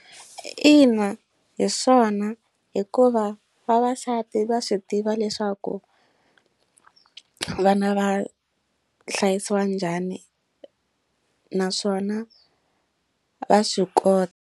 Ina hi swona hikuva vavasati va swi tiva leswaku vana va hlayisiwa njhani naswona va swi kota.